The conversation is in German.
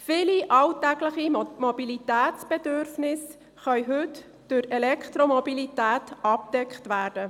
Viele alltägliche Mobilitätsbedürfnisse können heute durch Elektromobilität abgedeckt werden.